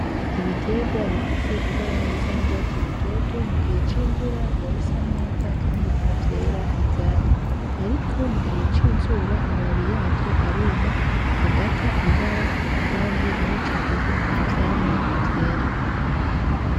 Ibitegwa bifise ibara risa n'urwatsi rutoto mu gihe c'imvura biba bisa neza kandi niho vyera ivyamwa. Ariko mu gihe c'izuba amababi yavyo aruma, agata ibara kandi muri ico gihe nta vyamwa vyera.